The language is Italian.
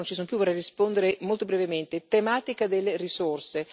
anche se alcuni non ci sono più, vorrei rispondere molto brevemente tematica delle risorse.